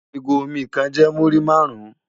Igó ómì kán jè múri màrún